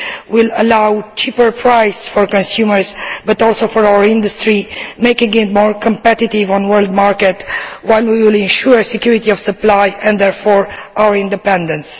will allow cheaper prices for consumers but also for our industry, making it more competitive on world markets while we will ensure security of supply and therefore our independence.